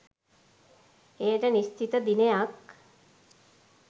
එයට නිශ්චිත දිනයක්